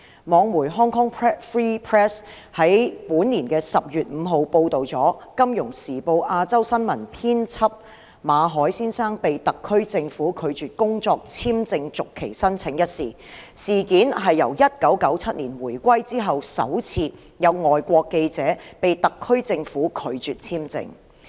網媒 Hong Kong Free Press 在本年10月5日報道《金融時報》亞洲新聞編輯馬凱先生被特區政府拒絕工作簽證續期申請一事，這是自1997年回歸之後，首次有外國記者被特區政府拒發簽證。